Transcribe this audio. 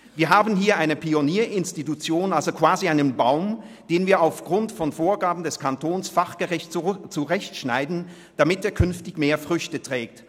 Wir haben hier eine Pionierinstitution, also quasi einen Baum, den wir aufgrund von Vorgaben des Kantons fachgerecht zurechtschneiden, damit er künftig mehr Früchte trägt.